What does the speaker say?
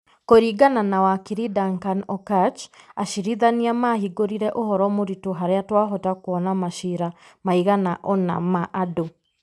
Kũringana na wakiri Duncan Okatch, acirithania mahingũrire ũhoro mũritũ harĩa twahota kũona macira maigana ũna ma andũ,